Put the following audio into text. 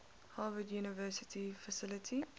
harvard university faculty